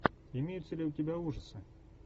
имеется ли у тебя ужасы